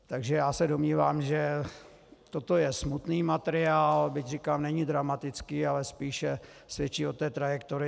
Takže já se domnívám, že toto je smutný materiál, byť říkám, není dramatický, ale spíše svědčí o té trajektorii.